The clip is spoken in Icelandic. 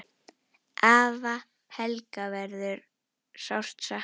Afa Helga verður sárt saknað.